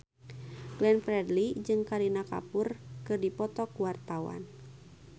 Glenn Fredly jeung Kareena Kapoor keur dipoto ku wartawan